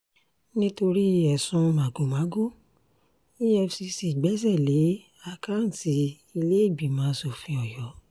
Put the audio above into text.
nítorí ẹ̀sùn magomago efcc gbẹ́sẹ̀ lé àkáùntì ìlẹ́ẹ̀gbìmọ asòfin ọ̀yọ́